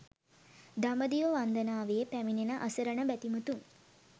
දඹදිව වන්දනාවේ පැමිණෙන අසරණ බැතිමතුන්